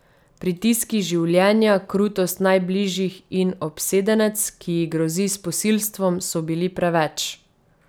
Pritiski življenja, krutost najbližjih in obsedenec, ki ji grozi s posilstvom, so bili preveč.